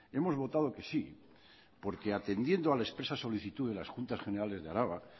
hemos votado que sí porque atendiendo a la expresa solicitud de las juntas generales de araba